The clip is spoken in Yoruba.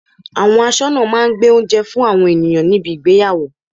Àwọn asọ́nà máa ń gbé oúnjẹ fún àwọn ènìyàn níbi ìgbéyàwó.